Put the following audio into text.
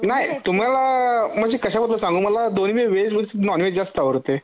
नाही तुम्हाला म्हणजे कश्यामधल सांगू मला दोन्ही व्हेज नॉनव्हेज जास्त आवडतय